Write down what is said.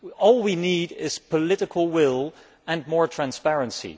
All we need is political will and more transparency.